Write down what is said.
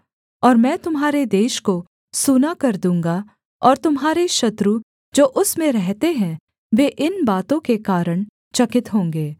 और मैं तुम्हारे देश को सूना कर दूँगा और तुम्हारे शत्रु जो उसमें रहते हैं वे इन बातों के कारण चकित होंगे